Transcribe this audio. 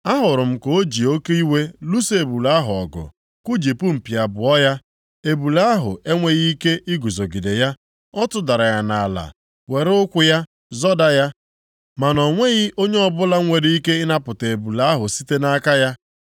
Ahụrụ m ka o ji oke iwe lụso ebule ahụ ọgụ kujipụ mpi abụọ ya. Ebule ahụ enweghị ike iguzogide ya. Ọ tụdara ya nʼala, were ụkwụ ya zọda ya, ma na o nweghị onye ọbụla nwere ike ịnapụta ebule ahụ site nʼike ya.